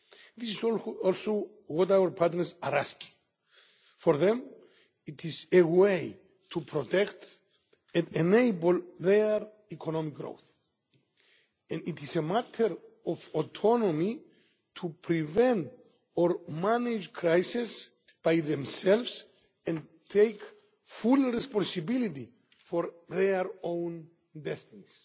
This is also what our partners are asking for. For them, this is a way to protect and enable their economic growth, and it is a matter of autonomy to prevent or manage crises by themselves and take full responsibility for their own destinies.